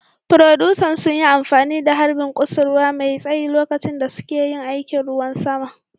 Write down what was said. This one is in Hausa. Furodusan sun yi amfani da harbin kusurwa mai tsayi lokacin da suke yin aikin ruwan sama